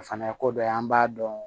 O fana ye ko dɔ ye an b'a dɔn